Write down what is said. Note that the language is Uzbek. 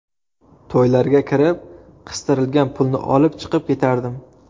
To‘ylarga kirib, qistirilgan pulni olib, chiqib ketardim.